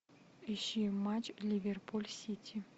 ищи матч ливерпуль сити